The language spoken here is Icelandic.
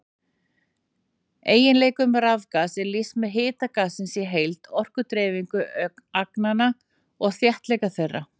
Eiginleikum rafgass er lýst með hita gassins í heild, orkudreifingu agnanna og þéttleika þeirra.